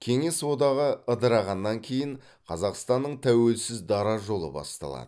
кеңес одағы ыдырағаннан кейін қазақстанның тәуелсіз дара жолы басталады